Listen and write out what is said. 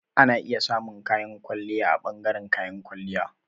Ana iya samun kayan kwalliya a ɓangaren kayan kwalliya.